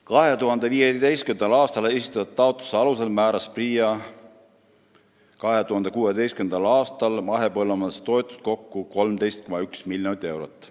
2015. aastal esitatud taotluste alusel määras PRIA 2016. aastal mahepõllumajanduse toetusi kokku 13,1 miljonit eurot.